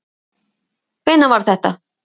Hvenær var þetta?